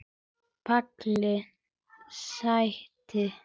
Palli sæti!!